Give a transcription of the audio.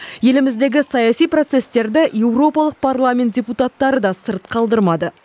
еліміздегі саяси процестерді еуропалық парламент депутаттары да сырт қалдырмады